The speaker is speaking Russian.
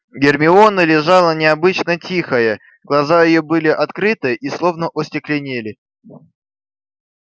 гермиона лежала необычно тихая глаза её были открыты и словно остекленели